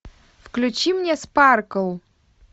включи мне спаркл